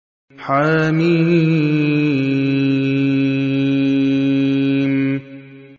حم